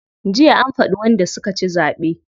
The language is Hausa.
Jiya an faɗi wanda suka ci zaɓe.